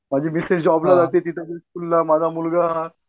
माझी मिसेस जॉबला जाते माझा मुलगा